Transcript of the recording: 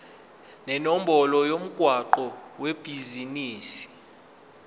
nenombolo yomgwaqo webhizinisi